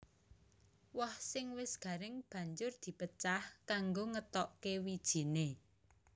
Woh sing wis garing banjur di pecah kanggo ngetokké wijiné